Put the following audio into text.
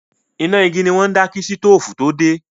Iná igi ni wọ́n ń dá kí sítóòfù tó dé.